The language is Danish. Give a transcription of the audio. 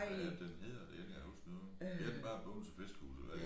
Hvad er det den hedder det kan jeg ikke engang huske nu hedder den bare Bogense Fiskehus eller hvad